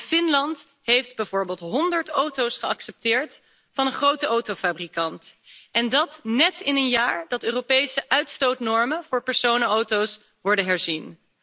Zo heeft Finland bijvoorbeeld honderd auto's geaccepteerd van een grote autofabrikant en dat net in een jaar dat de Europese uitstootnormen voor personenauto's worden herzien.